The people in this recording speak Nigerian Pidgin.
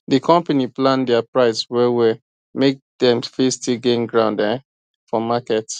the company plan their price well well make dem still fit gain ground um for market